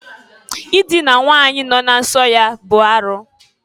Idina nwanyi nọ na nso ya bụ arụ.